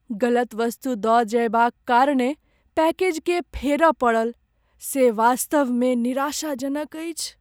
गलत वस्तु दऽ जयबाक कारणेँ पैकेजकेँ फेरय पड़ल से वास्तवमे निराशाजनक अछि।